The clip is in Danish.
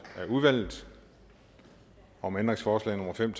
af udvalget om ændringsforslag nummer fem